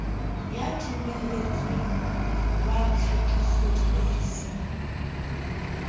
ya dumelletsweng wa tlhakiso diofising